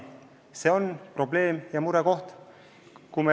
See on probleem ja murekoht.